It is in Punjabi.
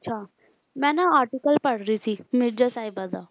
ਅੱਛਾ, ਮੈਂ ਨਾ article ਪੜ੍ਹ ਰਹੀ ਸੀ ਮਿਰਜ਼ਾ ਸਾਹਿਬਾਂ ਦਾ